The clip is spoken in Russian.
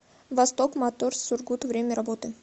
восток моторс сургут время работы